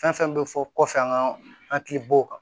Fɛn fɛn bɛ fɔ kɔfɛ an ka hakilibow kan